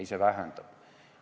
Ei, see vähendab.